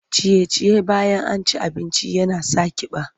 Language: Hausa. Ciye-ciye bayan an ci abinci yana sa ƙiba.